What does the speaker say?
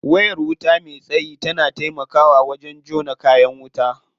Wayar wuta me tsayi na taimakawa wajen jona kayan wuta.